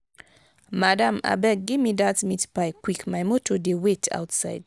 madam abeg gimme dat meat pie quick my motor dey wait outside.